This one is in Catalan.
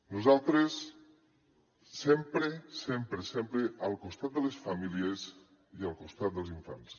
nosaltres sempre sempre sempre al costat de les famílies i al costat dels infants